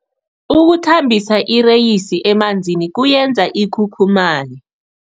Ukuthambisa ireyisi emanzini kuyenza ikhukhumaye.